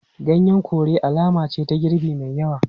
Ganyen kore alama ce ga girbi mai yawa.